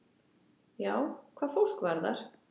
Já, hvað fólk varðar.